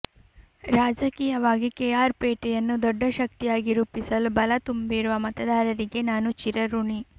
ರಾಜಕೀಯವಾಗಿ ಕೆಆರ್ ಪೇಟೆಯನ್ನು ದೊಡ್ಡ ಶಕ್ತಿಯಾಗಿ ರೂಪಿಸಲು ಬಲ ತುಂಬಿರುವ ಮತದಾರರಿಗೆ ನಾನು ಚಿರಋಣಿ